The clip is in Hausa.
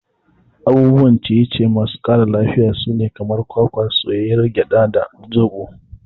Abubuwa na ciye ciye masu ƙara lafiya sune kamar kwakwa, soyayyiyar gyada, da zoɓo.